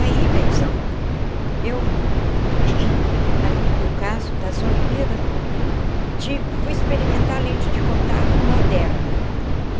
Aí, benzão, eu, ali no caso das Olimpíadas, ti fui experimentar a lente de contato moderna.